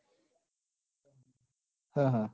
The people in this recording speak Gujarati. હમ હમ